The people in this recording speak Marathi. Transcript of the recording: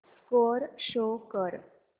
स्कोअर शो कर